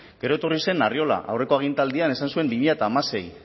gero etorri zen arriola aurreko agintaldian esan zuen bi mila hamasei